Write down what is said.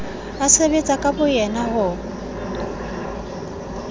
a sebetsa ka boyena ho